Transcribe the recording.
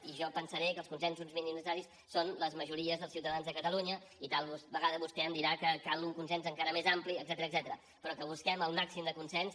i jo pensaré que els consensos mínims necessaris són les majories dels ciutadans de catalunya i tal vegada vostè em dirà que cal un consens encara més ampli etcètera però que busquem el màxim de consens